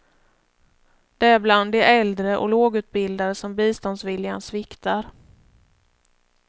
Det är bland de äldre och lågutbildade som biståndsviljan sviktar.